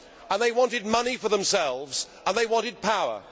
they wanted money for themselves and they wanted power.